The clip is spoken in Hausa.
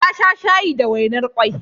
Ya sha shayi da wainar kwai.